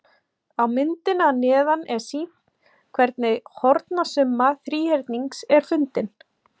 Á myndinni að neðan er sýnt hvernig hornasumma þríhyrnings er fundin.